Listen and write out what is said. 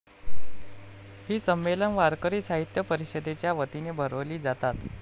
ही संमेलन वारकरी साहित्य परिषदेच्या वतीने भरवली जातात.